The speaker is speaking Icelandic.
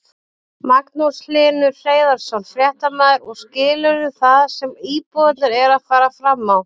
Magnús Hlynur Hreiðarsson, fréttamaður: Og skilurðu það sem íbúarnir eru að fara fram á?